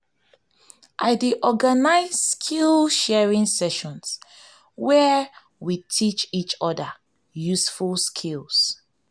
i dey organize skill-sharing sessions where we teach each other useful skills.